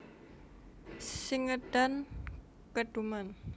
Sing ngedan keduman